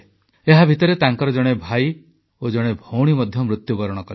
ଏହାଭିତରେ ତାଙ୍କର ଜଣେ ଭାଇ ଓ ଜଣେ ଭଉଣୀ ମଧ୍ୟ ମୃତ୍ୟୁବରଣ କଲେ